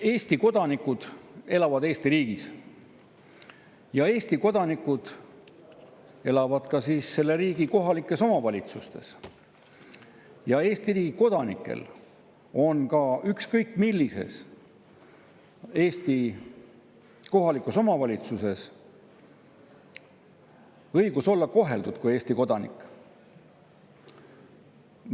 Eesti kodanikud elavad Eesti riigis, Eesti kodanikud elavad ka selle riigi kohalikes omavalitsustes, Eesti riigi kodanikel on ükskõik millises Eesti kohalikus omavalitsuses õigus olla koheldud kui Eesti kodanikud.